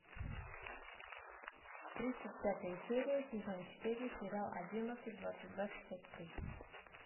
тридцать пятая серия сезон четыре сериал одиннадцать двадцать два шестьдесят три